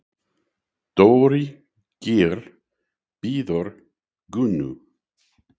Dóri Geir bíður Gunnu.